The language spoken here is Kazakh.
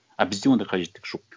а бізде ондай қажеттік жоқ